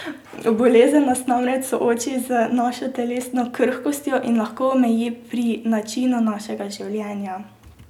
Bolezen nas namreč sooči z našo telesno krhkostjo in lahko omeji pri načinu našega življenja.